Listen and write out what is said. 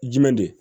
Jumɛn de